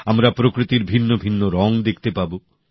আমরা প্রকৃতির ভিন্নভিন্ন রঙ দেখতে পাব